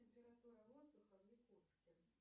температура воздуха в якутске